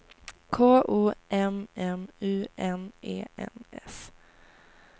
K O M M U N E N S